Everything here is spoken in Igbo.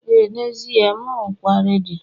ee n'ezie, m rụkwaa redio